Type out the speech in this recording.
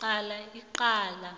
qala icala